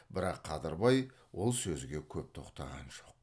бірақ қадырбай ол сөзге көп тоқтаған жоқ